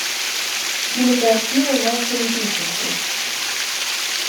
кинокартина машины песенки